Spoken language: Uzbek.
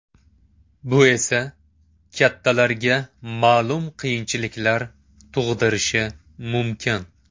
Bu esa kattalarga ma’lum qiyinchiliklar tug‘dirishi mumkin.